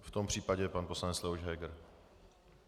V tom případě pan poslanec Leoš Heger.